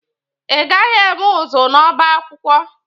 I gaghị eme ụzụ n'ọba akwụkwọ!